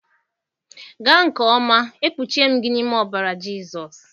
Gaa nke ọma, e kpuchie m gị n'ime ọbara Jizọs.